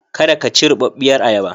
Kada ka ci rubarbiyar ayaba.